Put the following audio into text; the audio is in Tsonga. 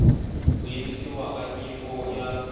ku yimisiwa ka nyiko ya